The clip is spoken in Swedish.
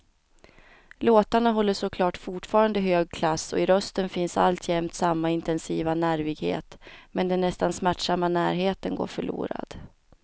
Låtarna håller såklart fortfarande hög klass och i rösten finns alltjämt samma intensiva nervighet, men den nästan smärtsamma närheten går förlorad.